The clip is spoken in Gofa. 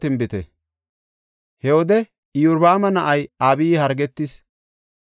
He wode Iyorbaama na7ay Abiyi hargetis.